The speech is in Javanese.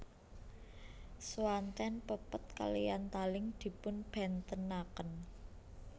Swanten pepet kaliyan taling dipunbèntenaken